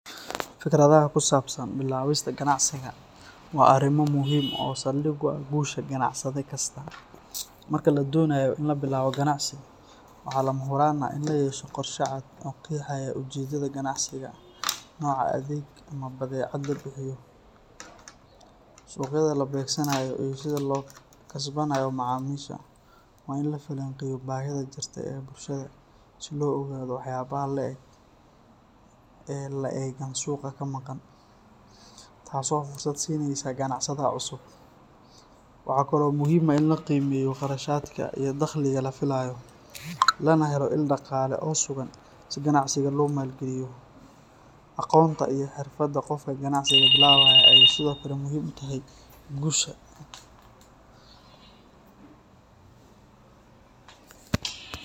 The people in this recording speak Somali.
Fikradaha ku saabsan bilaabista ganacsiga waa arrimo muhiim ah oo saldhig u ah guusha ganacsade kasta. Marka la doonayo in la bilaabo ganacsi, waxaa lama huraan ah in la yeesho qorshe cad oo qeexaya ujeedada ganacsiga, nooca adeeg ama badeecad la bixiyo, suuqyada la beegsanayo iyo sida loo kasbanayo macaamiisha. Waa in la falanqeeyo baahida jirta ee bulshada si loo ogaado waxyaabaha la’eg ee la’eggan suuqa ka maqan, taasoo fursad siinaysa ganacsadaha cusub. Waxaa kale oo muhiim ah in la qiimeeyo kharashaadka iyo dakhliga la filayo, lana helo il dhaqaale oo sugan si ganacsiga loo maalgeliyo. Aqoonta iyo xirfadda qofka ganacsiga bilaabaya ayey sidoo kale muhiim u tahay guusha.